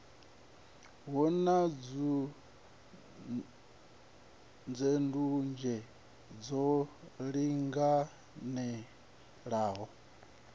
hu na ndunzhendunzhe lwo linganelaho